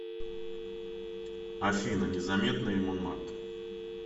афина незаметные монмарт